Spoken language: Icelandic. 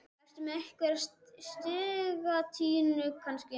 Ertu með einhverja í sigtinu kannski?